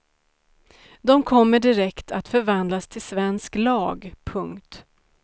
De kommer direkt att förvandlas till svensk lag. punkt